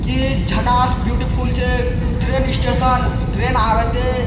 इ झकास ब्यूटीफुल छै ट्रेन स्टेशन ट्रेन आब एते।